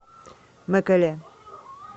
мэкэле